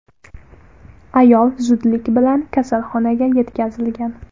Ayol zudlik bilan kasalxonaga yetkazilgan.